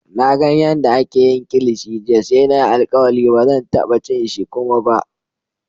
Na gan yadda ake yin kilishi jiya sai na yi alkawali ba zan taba cin shi kuma ba.